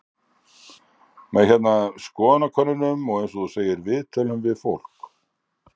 Með hérna, skoðanakönnunum og eins og þú segir, viðtölum við fólk?